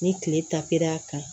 Ni kile ta kɛra a kan